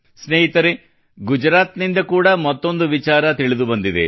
ಸ್ನೇಹಿತರೇ ಗುಜರಾತ್ ನಿಂದ ಕೂಡಾ ಮತ್ತೊಂದು ವಿಚಾರ ಕುರಿತು ತಿಳಿದು ಬಂದಿದೆ